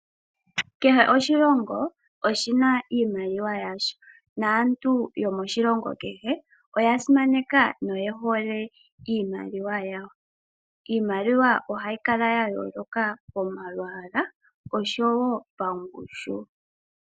Kehe oshilongo oshi na iimaliwa yasho naantu yomoshilongo kehe oya simaneka noye hole iimaliwa yawo. Iimaliwa ohayi kala ya yooloka momalwaala noshowo pangushu.